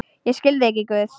Ég skil þig ekki, Guð.